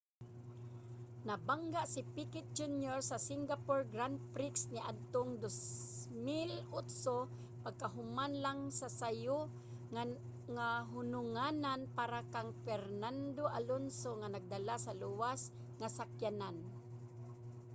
nabangga si piquet jr. sa singapore grand prix niadtong 2008 pagkahuman lang sa sayo nga hununganan para kang fernando alonso nga nagdala sa luwas nga sakyanan